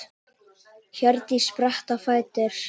Hjördís spratt á fætur.